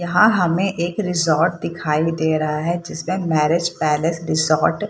यहाँ हमें एक रिसॉर्ट दिखाई दे रहा है जिसमें मैरिज पैलेस रिजॉर्ट --